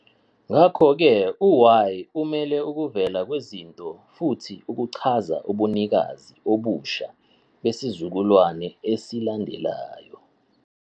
Ngakho-ke u- "Y" umele ukuvela kwezinto futhi uchaza ubunikazi obusha besizukulwane esilandelayo.